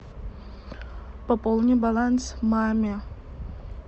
пополни баланс маме